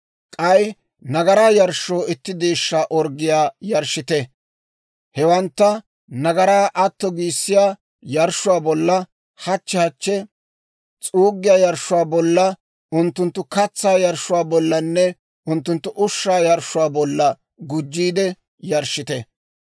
K'ay nagaraa yarshshoo itti deeshshaa orggiyaa yarshshite. Hewantta nagaraa atto giissiyaa yarshshuwaa bolla, hachchi hachchi s'uuggiyaa yarshshuwaa bolla, unttunttu katsaa yarshshuwaa bollanne unttunttu ushshaa yarshshuwaa bolla gujjiide yarshshite.